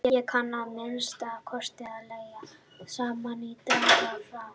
Ég kann að minnsta kosti að leggja saman og draga frá